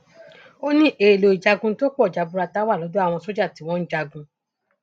ó ní èèlò ìjagun tó pọ jaburata wà lọdọ àwọn sójà tí wọn ń jagun